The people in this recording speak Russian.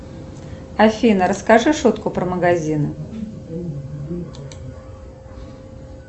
афина расскажи шутку про магазин